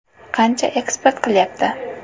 Qancha eksport qilyapti?